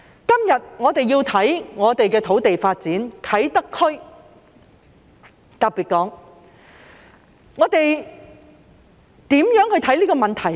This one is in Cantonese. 今天，我們要研究土地發展，特別是啟德區，我們如何去看這個問題呢？